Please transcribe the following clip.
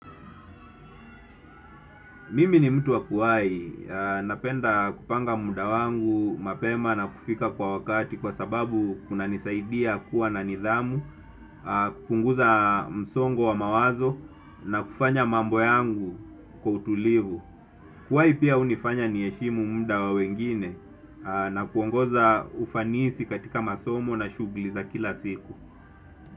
Mimi ni mtu wa kuwai. Napenda kupanga muda wangu mapema na kufika kwa wakati kwa sababu kunanisaidia kuwa na nidhamu, kupunguza msongo wa mawazo na kufanya mambo yangu kwa utulivu. Kuwai pia hunifanya niheshimu muda wa wengine na kuongoza ufanisi katika masomo na shughuli za kila siku.